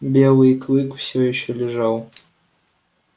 белый клык всё ещё лежал